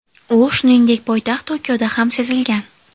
U, shuningdek, poytaxt Tokioda ham sezilgan.